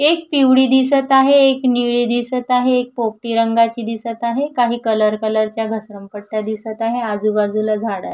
एक पिवळी दिसत आहे एक निळी दिसत आहे एक पोपटी रंगाची दिसत आहे काही कलर कलरच्या घसरण पट्या दिसत आहे आजुबाजुला झाड आहे.